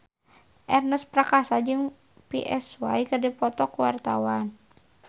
Ernest Prakasa jeung Psy keur dipoto ku wartawan